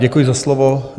Děkuji za slovo.